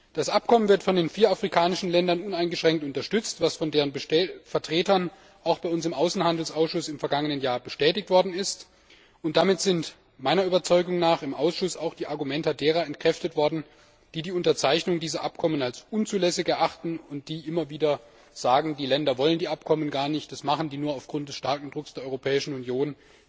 Das Abkommen wird von den vier afrikanischen Ländern uneingeschränkt unterstützt, was von deren Vertretern auch bei uns im Außenhandelsausschuss im vergangenen Jahr bestätigt worden ist, und damit sind meiner Überzeugung nach im Ausschuss auch die Argumente derer entkräftet worden, die die Unterzeichnung dieser Abkommen als unzulässig erachten und die immer wieder sagen, die Länder wollen die Abkommen gar nicht, das machen die nur aufgrund des starken Drucks der Europäischen Union.